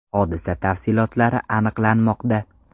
Hodisa tafsilotlari aniqlanmoqda.